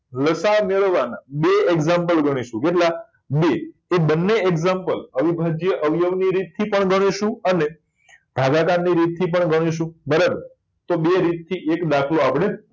લસા મેળવવા બે example ગણી શું કેટલા બે એ બંને example અવિભાજ્ય અવયવી ની રીત થી પણ ગણી શું અને ભાગાકાર ની રીત થી પણ ગણી શું બરાબર તો બે રીત થી એક દાખલો આપડે